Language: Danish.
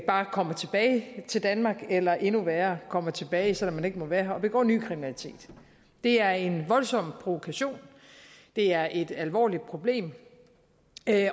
bare kommer tilbage til danmark eller endnu værre kommer tilbage selv om man ikke må være her og begår ny kriminalitet det er en voldsom provokation det er et alvorligt problem